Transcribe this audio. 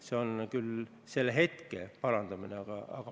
See on hetkeline olukorra parandamine.